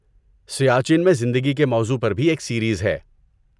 سیاچن میں زندگی کے موضوع پر بھی ایک سیریز ہے۔